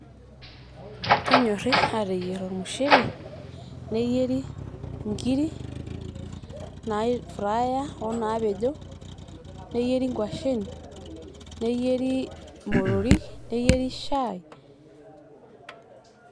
Kenyori ateyier ormushele ,neyieri inkiri naifraya onaapejo, neyieri inkwashen ,neyieri motorik, neyieri shai,,,